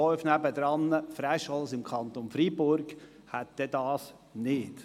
Das Dorf nebenan, Fräschels im Kanton Freiburg, hätte das nicht.